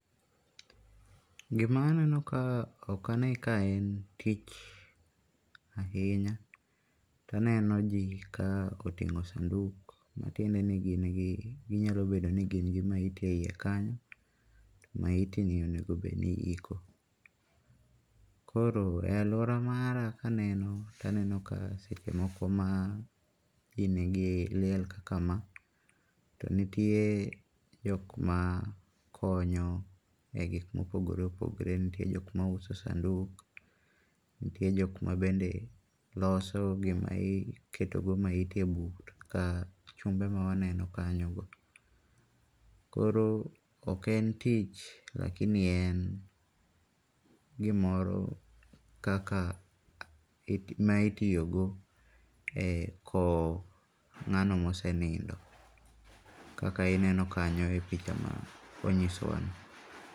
Gima aneno ka ok ane ka en tich ahinya. To aneno ji ka oting'o sanduk matiende ni gin gi ginyalo bedo ni gin gi maiti eyie kanyo. Maiti ni onego bed ni iiko. Koro, e aluora mara ka aneno, aneno ka seche moko ma ji nigi liel kaka ma, to nitie jok makonyo e gik mopogore opogore. Nitie jok ma uso sanduk, nitie jok ma bende loso gima iketo go maiti eyi bur ka chumbe ma waneno kanyo go. Koro ok en tich, [sc]lakini en gimoro kaka ma itiyogo e kowo ng'ano ma osenindo. Kaka ineno kanyo e picha no manyisowa no.